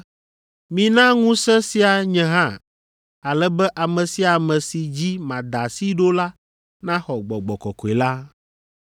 “Mina ŋusẽ sia nye hã ale be ame sia ame si dzi mada asi ɖo la naxɔ Gbɔgbɔ Kɔkɔe la.”